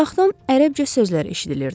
Uzaqdan ərəbcə sözlər eşidilirdi.